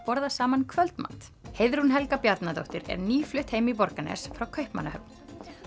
borða saman kvöldmat Heiðrún Helga Bjarnadóttir er nýflutt heim í Borgarnes frá Kaupmannahöfn